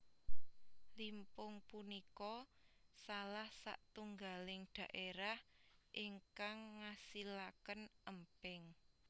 Limpung punika salah satunggaling daerah ingkang ngasilaken Emping